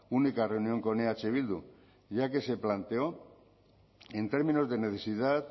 única reunión con eh bildu ya que se planteó en términos de necesidad